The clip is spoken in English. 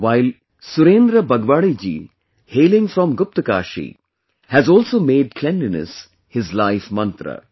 While, Surendra Bagwadi ji hailing from Guptkashi has also made cleanliness his life mantra